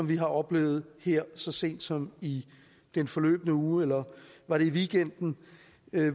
vi har oplevet her så sent som i den forløbne uge eller var det i weekenden